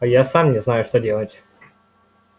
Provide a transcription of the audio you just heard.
я сам не знаю что делать